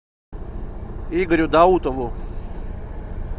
игорю даутову